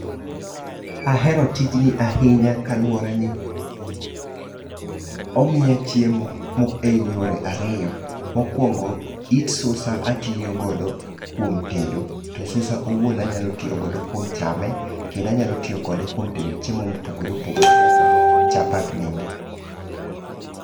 Ahero tijni ahinya, kaluworeni, omiya chiemo e yore ariyo. Mokwongo, it susa atiyogodo kuom tedo, to susa owuon anyalo tiyogodo kuom chame, kendo anyalo tiyo kode kuom tedo chiemo mopogore opogore kata chapat bende.